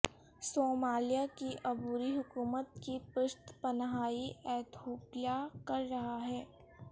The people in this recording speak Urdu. صومالیہ کی عبوری حکومت کی پشت پناہی ایتھوپیا کر رہا ہے